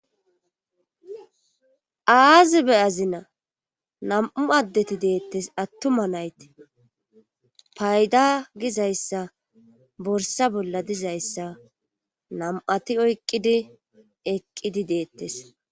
aazi be azina nam7u addeti deettes attuma nayti payda gizayssa borsa bolla dizayssa nam7ati oyqqidi eqqidi deettes